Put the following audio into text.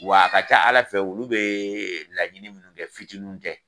Wa a ka ca ala fɛ olu bɛɛɛɛ laɲinin munnu kɛ fitininw tɛ.